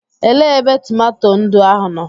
Elee ebe tomato ndụ ahụ nọ?